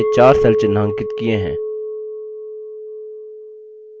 यहाँ हमने 4 cells चिन्हांकित किए हैं